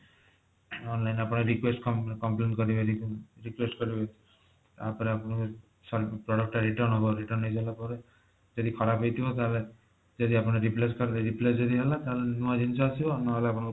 online ରେ ଆପଣ request complain କରିବେ ପୁଣି request କରିବେ ତାପରେ ଆପଣଙ୍କ ସେ product ଟା return ହେବ return ହେଇସାରିଲା ପରେ ଯଦି ଖରାପ ହେଇଥିବ ତାହେଲେ ଯଦି ଆପଣ replace କରିବେ replace ଯଦି ହେଲା ତାହେଲେ ନୂଆ ଜିନିଷ ଆସିବ ନହେଲେ ଆପଣଙ୍କ